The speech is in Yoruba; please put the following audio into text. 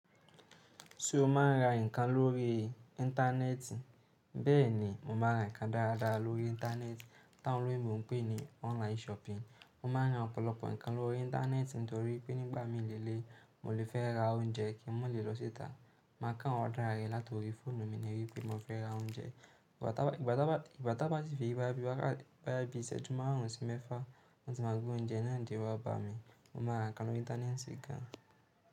Ṣé o máa ń ra nǹkan lórí íńtánẹ́ẹ̀tì? Bẹ́ẹ̀ni, mo máa ń ra nǹkan dáadáa lórí íńtánẹ́ẹ̀tì, tá ń rí bí mo ń pè é ní online shopping. Mo máa ń ra ọ̀pọ̀lọpọ̀ nǹkan lórí íńtánẹ́ẹ̀tì nítorí pé nígbà mí lèléyi, mo lè fẹ́ ra oúnjẹ kí mo lè lọ síta. Màá kán order rẹ látọ̀rí fóònù mi náà wí pé mo fẹ́ ra oúnjẹ. Ìgbà tan bá sì fẹ́ wá bí wá bí iṣẹ́ju maàrùn sí mẹ́fà wán tí ma gbé oúnjẹ náà dé wá bá mi. Mo máa ra nǹkan lórí íńtánẹ́ẹ̀tì gan.